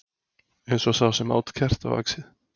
Eins og sá sem át kertavaxið.